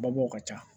Babɔw ka ca